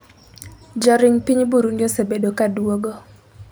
joring piny Burundi osebedo kaduogo